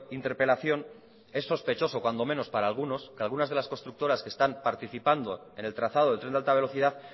interpelación es sospechoso cuando menos para algunos que algunas de las constructoras que están participando en el trazado del tren de alta velocidad